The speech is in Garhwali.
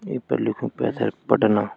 ई फर लिख्युं पैथर पटना।